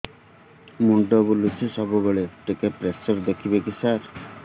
ମୁଣ୍ଡ ବୁଲୁଚି ସବୁବେଳେ ଟିକେ ପ୍ରେସର ଦେଖିବେ କି ସାର